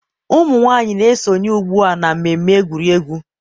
ụmụ nwanyị na-esonye ugbu a na mmemme egwuregwu.